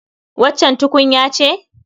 Waccan tukunya ce?